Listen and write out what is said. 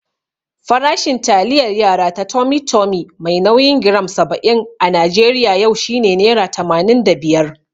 Farashin taliyar yara ta Tummy Tummy mai nauyin giram saba'in a Najeriya yau shine nera tamanin da biyar.